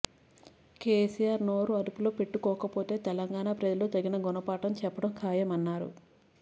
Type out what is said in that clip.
కెసిఆర్ నోరు అదుపులో పెట్టుకోకపోతే తెలంగాణ ప్రజలు తగిన గుణపాఠం చెప్పడం ఖాయమన్నారు